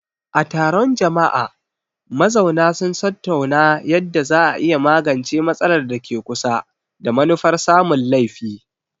A taron jama'a, mazauna sun tattauna yadda za a iya magance matsalar da ke kusa, da manufar samun laifi.